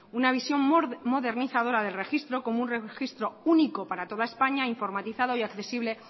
una visión modernizadora del registro como un registro único para toda españa informatizado y accesible